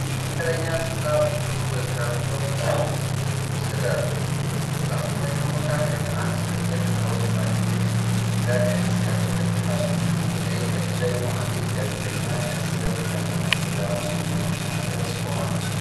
መካከለኛ ስፍራ ብዙ በካርቶን የታሸጉ እርዳታዎች ተደራርበዋል። በሳጥኖቹ መካከል አንድ ትልቅ ሮዝ ፓኬጅ የኢትዮጵያ ቀይ መስቀል ምልክት አለው፤ በቀኝ ጥግ ደግሞ አንዲት ጋዜጠኛ ከስር በሚነበብ የአማርኛ ዜና ርዕስ ጋር ቆማለች።